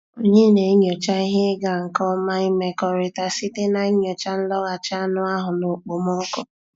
Anyị na-enyocha ihe ịga nke ọma imekọrịta site na nyochaa nlọghachi anụ ahụ na okpomọkụ.